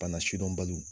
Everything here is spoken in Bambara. Bana sidɔnbaliw